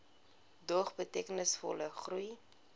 dog betekenisvolle groei